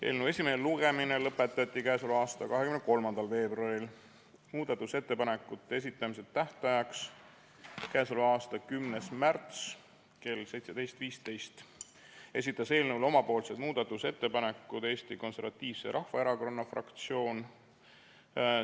Eelnõu esimene lugemine lõpetati 23. veebruaril, muudatusettepanekute esitamise tähtajaks, mis oli 10. märts kell 17.15, esitas eelnõu kohta omapoolsed muudatusettepanekud Eesti Konservatiivse Rahvaerakonna fraktsioon.